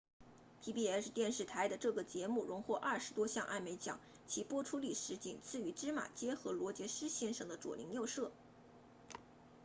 pbs 电视台的这个节目荣获二十多项艾美奖其播出历史仅次于芝麻街和罗杰斯先生的左邻右舍